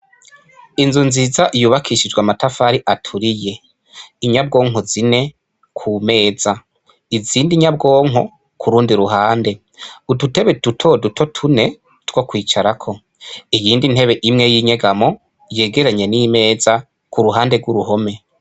Inzu nziza yubakishijwe amatafari aturiye inyabwonko zine ku meza izindi nyabwonko ku ruhande udutebe dutoduto tune twokwicarako iyindi ntebe imwe y'inyegamo yegeranye n'imeza kuruhande gw'uruhome.